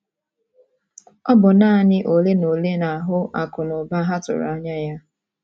Ọ bụ naanị ole na ole na-ahụ akụ na ụba ha tụrụ anya ya.